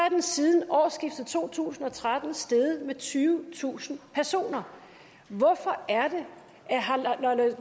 at den siden årsskiftet to tusind og tretten er steget med tyvetusind personer hvorfor